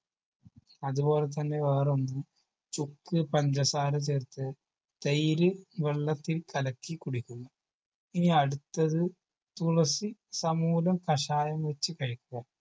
അതുപോലെ തന്നെ വേറൊന്ന് ചുക്ക് പഞ്ചസാര ചേർത്ത് തൈര് വെള്ളത്തിൽ കലക്കി കുടിക്കുന്നു ഇനി അടുത്തത് തുളസി സമൂലം കഷായം വെച്ച് കഴിക്കുക